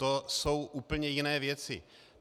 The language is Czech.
To jsou úplně jiné věci.